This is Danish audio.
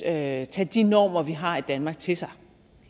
at tage de normer vi har i danmark til sig